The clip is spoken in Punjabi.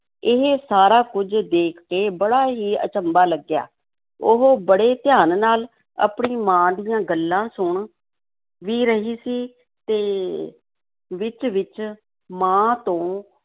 ਇਹ ਸਾਰਾ ਕੁੱਝ ਦੇਖ ਕੇ ਬੜਾ ਹੀ ਅਚੰਭਾ ਲੱਗਿਆ, ਉਹ ਬੜੇ ਧਿਆਨ ਨਾਲ ਆਪਣੀ ਮਾਂ ਦੀਆਂ ਗੱਲਾਂ ਸੁਣ ਵੀ ਰਹੀ ਸੀ ਤੇ ਵਿੱਚ-ਵਿੱਚ ਮਾਂ ਤੋਂ